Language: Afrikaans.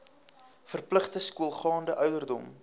verpligte skoolgaande ouderdom